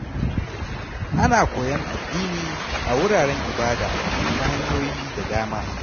Ana koyon addini a wuraren ibada ta hanyoyi da dama.